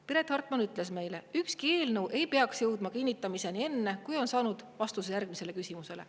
Piret Hartman ütles meile, et ükski eelnõu ei jõuda kinnitamiseni enne, kui on saanud vastuse järgmistele küsimustele.